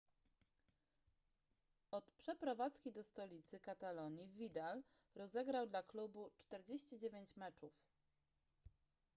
od przeprowadzki do stolicy katalonii vidal rozegrał dla klubu 49 meczów